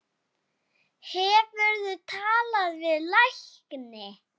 Hefurðu talað við lækni?